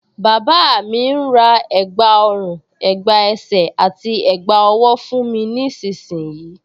Bàbá mi ń ra ẹ̀gbá ọrùn, ẹ̀gbá ẹsẹ̀ àti ẹ̀gbá ọwọ́ fún mi nísinsìnyí